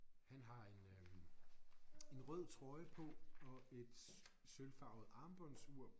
Han har en øh en rød trøje på og et sølvfarvet armbåndsur